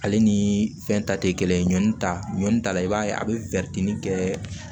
Ale ni fɛn ta tɛ kelen ɲɔni ta ɲɔni ta la i b'a ye a be kɛ